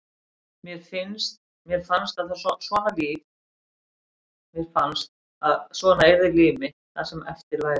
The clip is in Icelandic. Mér fannst að svona yrði líf mitt það sem eftir væri.